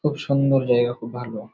খুব সুন্দর জায়গা খুব ভালো ।